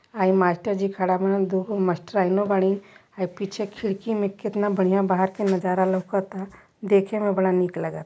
हई मास्टर जी खड़ा बारन दु गो मास्टराईनो बारी हइ पीछे खिड़की मे कितना बढ़िया बाहर के नाजारा लौउकता देखे मे बड़ा निक लाग --